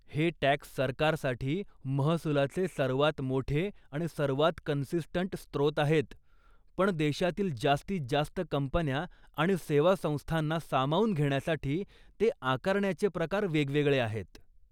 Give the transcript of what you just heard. हे टॅक्स सरकारसाठी महसुलाचे सर्वात मोठे आणि सर्वात कन्सिस्टंट स्त्रोत आहेत, पण देशातील जास्तीत जास्त कंपन्या आणि सेवा संस्थांना सामावून घेण्यासाठी ते आकारण्याचे प्रकार वेगवेगळे आहेत.